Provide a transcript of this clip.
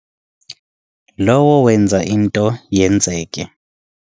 Lowo wenza into yenzeke.